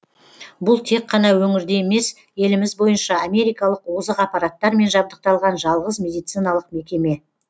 бұл тек қана өңірде емес еліміз бойынша америкалық озық аппараттармен жабдықталған жалғыз медициналық мекеме